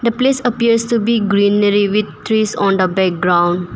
The place appears to be greenery with trees on the background.